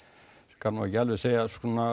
skal nú ekki alveg segja